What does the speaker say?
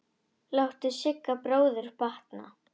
Láttu Sigga bróður batna.